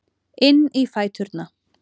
Inn í fæturna.